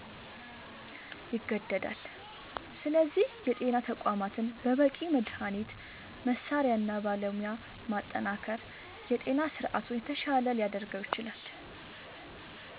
ይገደዳል። ስለዚህ የጤና ተቋማትን በበቂ መድኃኒት፣ መሣሪያ እና ባለሙያ ማጠናከር የጤና ስርዓቱን የተሻለ ሊያደርገው ይችላል።